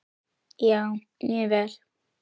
Já, mjög vel.